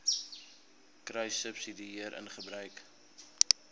kruissubsidiëringgebruik